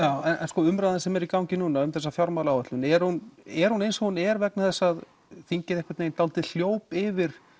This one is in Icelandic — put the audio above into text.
en umræðan sem er í gangi núna um þessa fjármálaáætlun er hún er hún eins og hún er vegna þess að þingið dálítið hljóp yfir